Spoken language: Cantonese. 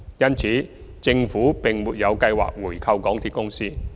因此，政府沒有計劃回購港鐵公司。